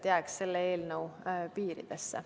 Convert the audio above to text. Jääme selle eelnõu piiridesse.